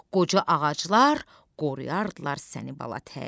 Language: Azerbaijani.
qoca ağaclar qoruyardılar səni bala tək.